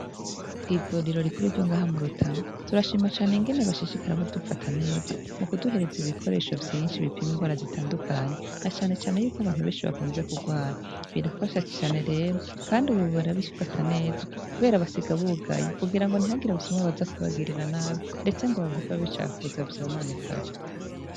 Kw'ivuriro rikuru ryo ngaha mu Rutana turashima cane ingene bashishikara badufata neza mukuduhereza ibikoresho vyinshi bipima indwara zitandukanye na cane cane y'uko abantu benshi bakunze kugwara birafasha cane rero, Kandi ubu barabifata neza kubera basiga bugaye kugira ntihagire abasuma kubagirira nabi ndetse ngo bahave babicafuza vyononekare.